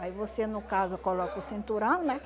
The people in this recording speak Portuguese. Aí você, no caso, coloca o cinturão, né?